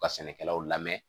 U ka sɛnɛkɛlaw lamɛn